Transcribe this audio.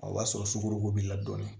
O b'a sɔrɔ sukorodon b'i la dɔɔnin